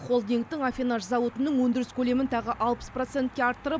холдингтің аффинаж зауытының өндіріс көлемін тағы алпыс процентке арттырып